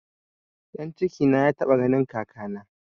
Ɗan cikina ya taɓa ganin kakana